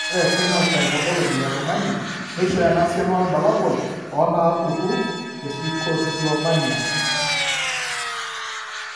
Ore ephenotype ontology etung'ani neishooyo enasiana oorbulabul onaapuku eTrichotillomania?